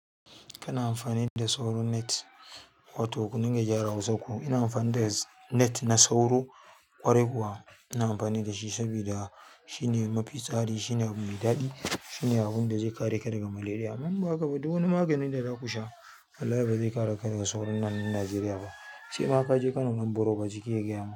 Kana amfani da sauro net, wato kuringa gyara hausan ku ina amfani da net na sauro ƙwarai kuwa ina amfani da shi saboda shine mafi tsari, shine abu mai daɗi. Shine abunda zai kare ka daga malaria. Imba haka ba, dukan maganin da zaku sha wallahi bazai kare ka daga sauron nan Najeriya ba. Sai ma kaje Kano nan borobu jiki ya gyamu.